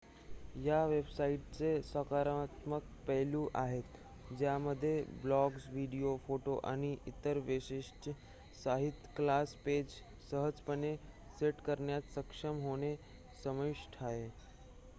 या वेबसाइट्सचे सकारात्मक पैलू आहेत ज्यामध्ये ब्लॉग्ज व्हिडिओ फोटो आणि इतर वैशिष्ट्यांच्या सहित क्लास पेज सहजपणे सेट करण्यात सक्षम होणे समाविष्ट आहे